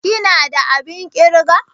ka/ ki na da abin kirga?